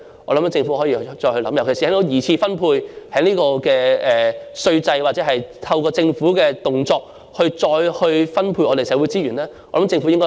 我認為政府可以再思考一下，特別是從稅制或透過政府的動作進行二次分配來再分配社會資源。